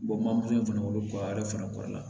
fana wolo fana kɔɔri la